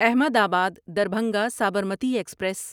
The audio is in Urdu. احمد آباد دربھنگا سابرمتی ایکسپریس